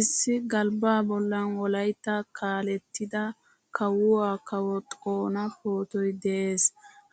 Issi galbba bollan wolaytta kaalettida kawuwaa kawo xoona pootoy de'ees.